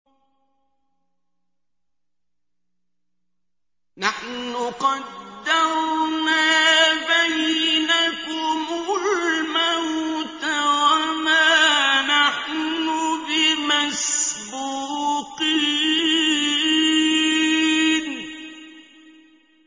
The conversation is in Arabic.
نَحْنُ قَدَّرْنَا بَيْنَكُمُ الْمَوْتَ وَمَا نَحْنُ بِمَسْبُوقِينَ